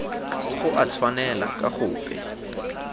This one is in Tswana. go a tshwanela ka gope